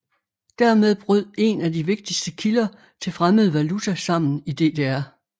Dermed brød en af de vigtigste kilder til fremmed valuta sammen i DDR